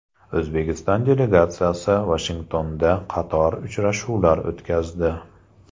O‘zbekiston delegatsiyasi Vashingtonda qator uchrashuvlar o‘tkazdi.